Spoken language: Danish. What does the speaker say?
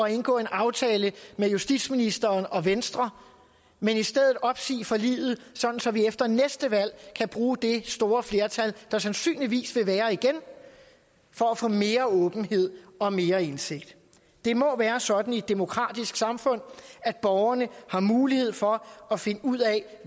at indgå en aftale med justitsministeren og venstre men i stedet opsige forliget så vi efter næste valg kan bruge det store flertal der sandsynligvis vil være igen for at få mere åbenhed og mere indsigt det må være sådan i et demokratisk samfund at borgerne har mulighed for at finde ud af